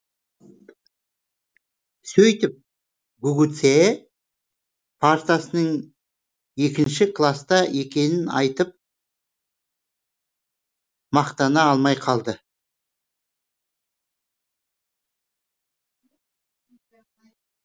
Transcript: сөйтіп гугуцэ партасының екінші класта екенін айтып мақтана алмай қалды